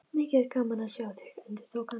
Mikið er gaman að sjá þig, endurtók hann.